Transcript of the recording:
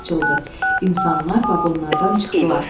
İnsanlar vaqonlardan çıxdılar.